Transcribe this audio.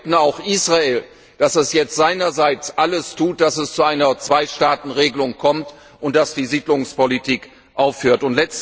Aber wir bitten auch Israel, dass es jetzt seinerseits alles unternimmt, dass es zu einer Zwei Staaten Regelung kommt und dass die Siedlungspolitik aufhört.